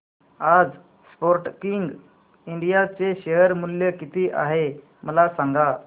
आज Sportking India चे शेअर मूल्य किती आहे मला सांगा